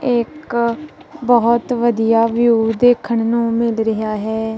ਇੱਕ ਬਹੁਤ ਵਧੀਆ ਵਿਊ ਦੇਖਣ ਨੂੰ ਮਿਲ ਰਿਹਾ ਹੈ।